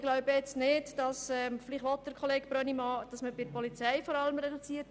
Vielleicht will Kollege Brönnimann, dass man bei der Polizei kürzt.